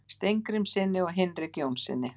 Steingrímssyni og Hinrik Jónssyni.